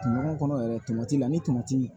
Ɲɔgɔn kɔnɔ yɛrɛ tamatila ani tomati